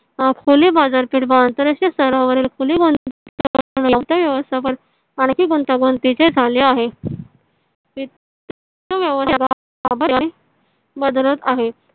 खुली बाजार पेठ व अंतर राष्ट्रीय स्थरावरील खुली वित्त व्यवस्थापन आणि गुंतागुंतीचे झाले आहे . वित्त बदलत आहे.